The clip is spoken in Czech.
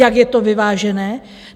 Jak je to vyvážené?